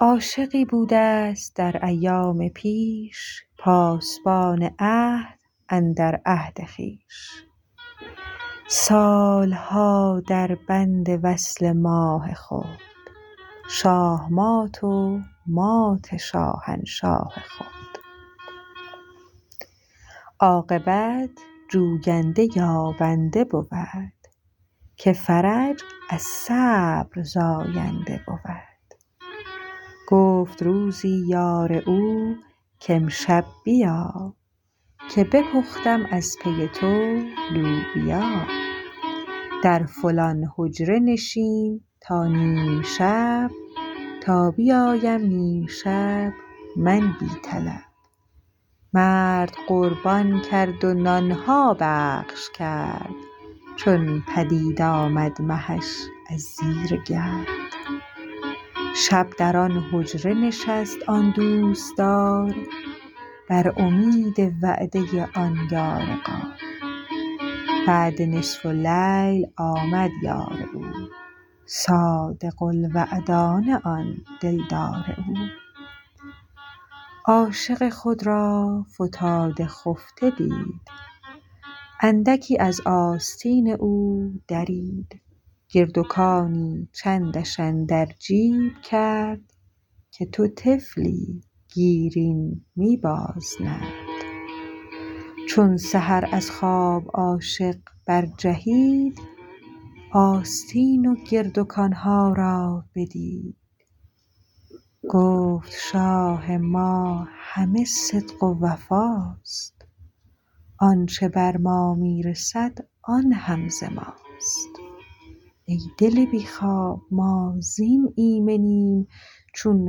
عاشقی بودست در ایام پیش پاسبان عهد اندر عهد خویش سالها در بند وصل ماه خود شاهمات و مات شاهنشاه خود عاقبت جوینده یابنده بود که فرج از صبر زاینده بود گفت روزی یار او که امشب بیا که بپختم از پی تو لوبیا در فلان حجره نشین تا نیم شب تا بیایم نیم شب من بی طلب مرد قربان کرد و نانها بخش کرد چون پدید آمد مهش از زیر گرد شب در آن حجره نشست آن گرمدار بر امید وعده آن یار غار بعد نصف اللیل آمد یار او صادق الوعدانه آن دلدار او عاشق خود را فتاده خفته دید اندکی از آستین او درید گردکانی چندش اندر جیب کرد که تو طفلی گیر این می باز نرد چون سحر از خواب عاشق بر جهید آستین و گردکانها را بدید گفت شاه ما همه صدق و وفاست آنچ بر ما می رسد آن هم ز ماست ای دل بی خواب ما زین ایمنیم چون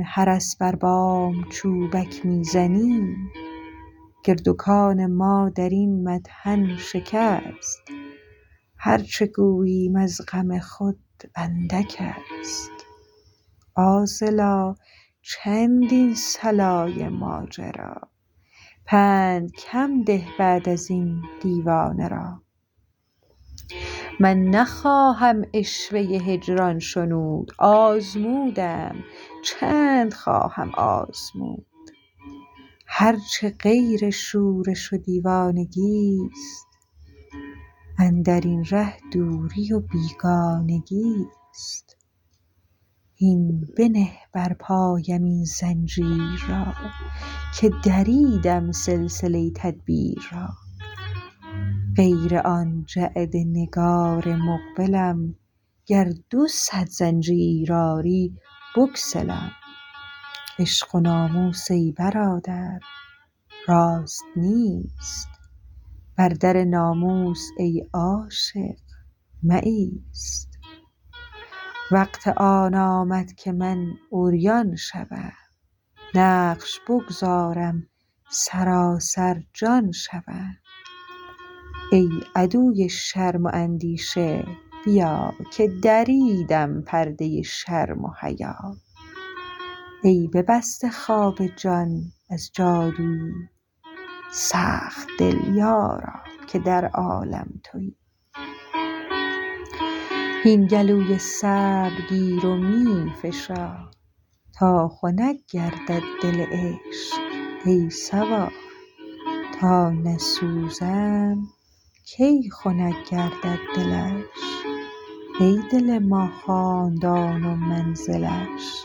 حرس بر بام چوبک می زنیم گردکان ما درین مطحن شکست هر چه گوییم از غم خود اندکست عاذلا چند این صلای ماجرا پند کم ده بعد ازین دیوانه را من نخواهم عشوه هجران شنود آزمودم چند خواهم آزمود هرچه غیر شورش و دیوانگیست اندرین ره دوری و بیگانگیست هین بنه بر پایم آن زنجیر را که دریدم سلسله تدبیر را غیر آن جعد نگار مقبلم گر دو صد زنجیر آری بگسلم عشق و ناموس ای برادر راست نیست بر در ناموس ای عاشق مایست وقت آن آمد که من عریان شوم نقش بگذارم سراسر جان شوم ای عدو شرم و اندیشه بیا که دریدم پرده شرم و حیا ای ببسته خواب جان از جادوی سخت دل یارا که در عالم توی هین گلوی صبر می گیر و فشار تا خنک گردد دل عشق ای سوار تا نسوزم کی خنک گردد دلش ای دل ما خاندان و منزلش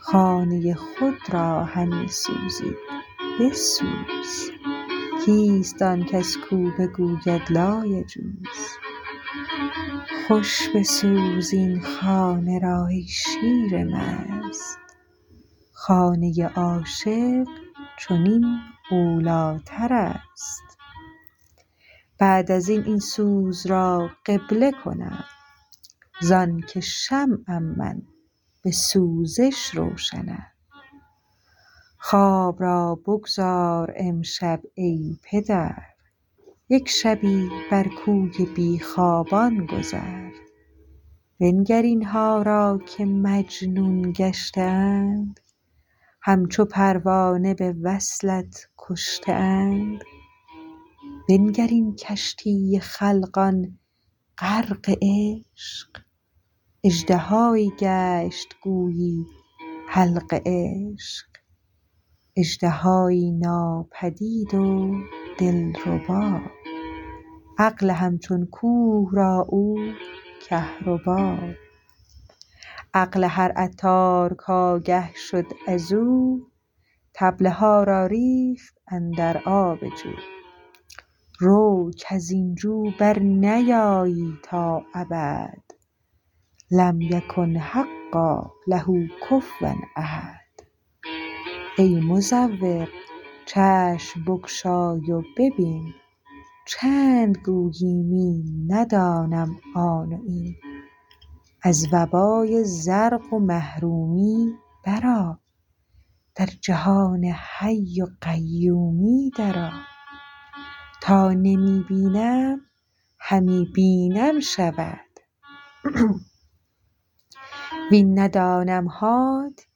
خانه خود را همی سوزی بسوز کیست آن کس کت بگوید لایجوز خوش بسوز این خانه را ای شیر مست خانه عاشق چنین اولیترست بعد ازین این سوز را قبله کنم زانکه شمعم بسوزش روشنم خواب را بگذار امشب ای پدر یک شبی بر کوی بی خوابان گذر بنگر اینها را که مجنون گشته اند هم چو پروانه بوصلت کشته اند بنگر این کشتی خلقان غرق عشق اژدهایی گشت گویی حلق عشق اژدهایی ناپدید دلربا عقل هم چون کوه را او کهربا عقل هر عطار کآگه شد ازو طبله ها را ریخت اندر آب جو رو کزین جو برنیایی تا ابد لم یکن حقا له کفوا احد ای مزور چشم بگشای و ببین چند گویی می ندانم آن و این از وبای زرق و محرومی بر آ در جهان حی و قیومی در آ تا نمی بینم همی بینم شود وین ندانمهات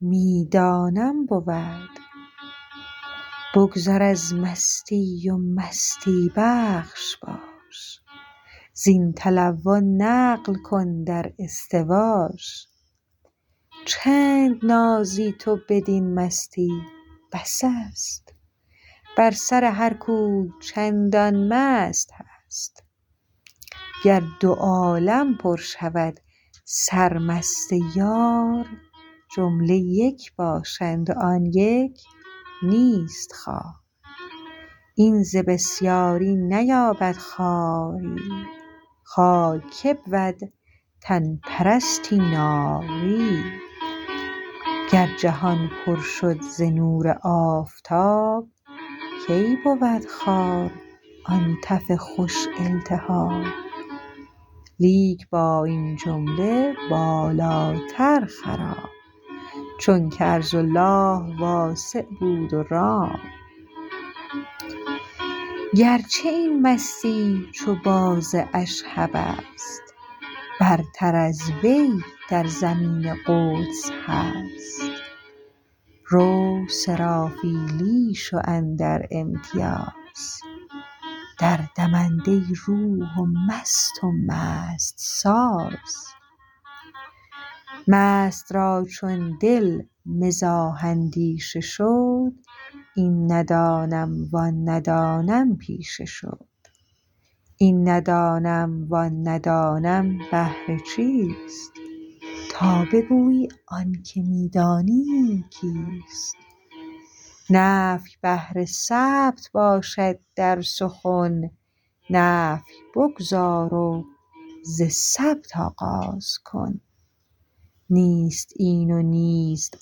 می دانم بود بگذر از مستی و مستی بخش باش زین تلون نقل کن در استواش چند نازی تو بدین مستی بس است بر سر هر کوی چندان مست هست گر دو عالم پر شود سرمست یار جمله یک باشند و آن یک نیست خوار این ز بسیاری نیابد خواریی خوار که بود تن پرستی ناریی گر جهان پر شد ز نور آفتاب کی بود خوار آن تف خوش التهاب لیک با این جمله بالاتر خرام چونک ارض الله واسع بود و رام گرچه این مستی چو باز اشهبست برتر از وی در زمین قدس هست رو سرافیلی شو اندر امتیاز در دمنده روح و مست و مست ساز مست را چون دل مزاح اندیشه شد این ندانم و آن ندانم پیشه شد این ندانم وان ندانم بهر چیست تا بگویی آنک می دانیم کیست نفی بهر ثبت باشد در سخن نفی بگذار و ز ثبت آغاز کن نیست این و نیست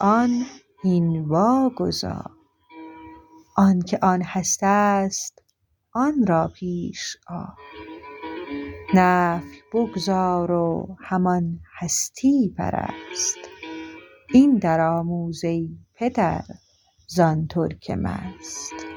آن هین واگذار آنک آن هستست آن را پیش آر نفی بگذار و همان هستی پرست این در آموز ای پدر زان ترک مست